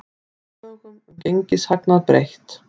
Lögum um gengishagnað breytt